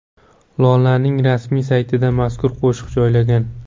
Lolaning rasmiy saytida mazkur qo‘shiq joylangan.